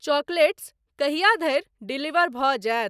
Chocolates कहिया धरि deliver भऽ जायत?